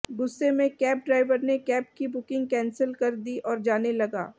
गुस्से में cab driver ने कैब की बुकिंग कैंसिल कर दी और जाने लगा